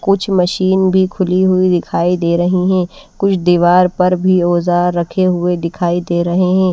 कुछ मशीन भी खुली हुई दिखाई दे रही है। कुछ दीवार पर भी औजार रखे हुए दिखाई दे रहे है।